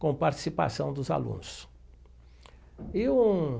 Com participação dos alunos e um.